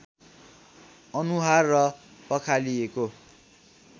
अनुहार र पखालिएको